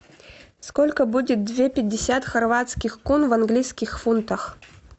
сколько будет две пятьдесят хорватских кун в английских фунтах